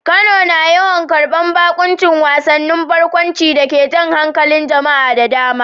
Kano na yawan karbar baƙuncin wasannin barkwanci da ke jan hankalin jama'a da dama.